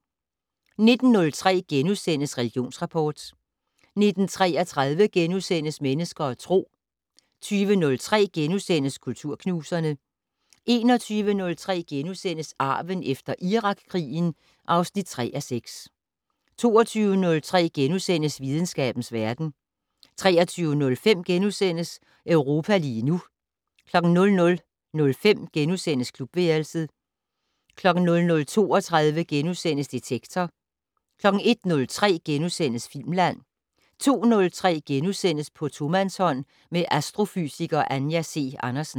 19:03: Religionsrapport * 19:33: Mennesker og Tro * 20:03: Kulturknuserne * 21:03: Arven efter Irakkrigen (3:6)* 22:03: Videnskabens verden * 23:05: Europa lige nu * 00:05: Klubværelset * 00:32: Detektor * 01:03: Filmland * 02:03: På tomandshånd med astrofysiker Anja C. Andersen *